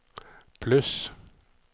pluss